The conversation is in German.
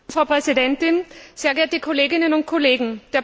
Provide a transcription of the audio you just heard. Frau Präsidentin, sehr geehrte Kolleginnen und Kollegen!